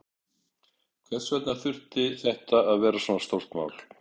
Hvers vegna þurfti þetta að vera svona stórt mál?